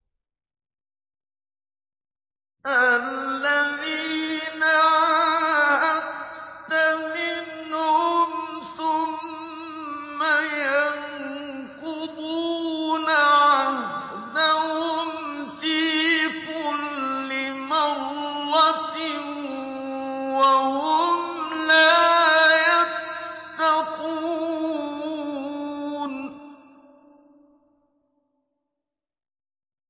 الَّذِينَ عَاهَدتَّ مِنْهُمْ ثُمَّ يَنقُضُونَ عَهْدَهُمْ فِي كُلِّ مَرَّةٍ وَهُمْ لَا يَتَّقُونَ